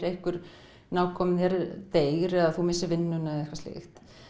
einhver nákominn þér deyr eða þú missir vinnuna eða eitthvað slíkt